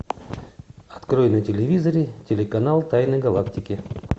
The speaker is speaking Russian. открой на телевизоре телеканал тайны галактики